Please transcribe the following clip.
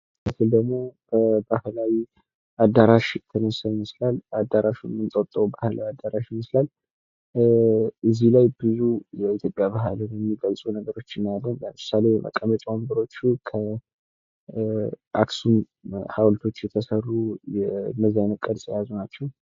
ይህ ምስል ደሞ ባህላዊ አዳራሽ ይመስላል ፤ አዳራሹም የ እንጦጦ ባህላዊ አዳራሽ ይመስላል ፤ እዚህ ላይ ብዙ የኢትዮጵያ ባህል የሚገልጹ ነገሮችን እናያለን፤ ለምሳሌ፦ መቀመጫ ወንበሮቹ የአክሱም ሀዉልት ቅርጽ የያዙ ናቸው።